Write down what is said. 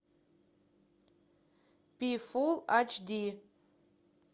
пи фул айч ди